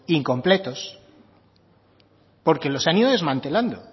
incompletos porque los han ido desmantelando